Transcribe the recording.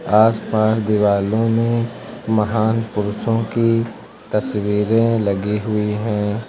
आसपास दिवालों में महान पुरुषों की तस्वीरें लगी हुई हैं।